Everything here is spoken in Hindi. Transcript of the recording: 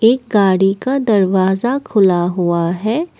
गाड़ी का दरवाजा खुला हुआ है।